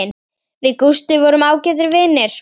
Við Gústi vorum ágætir vinir.